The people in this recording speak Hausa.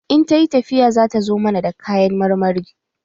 In ta yi tafiya, zata zo mana da kayan marmari